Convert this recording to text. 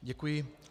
Děkuji.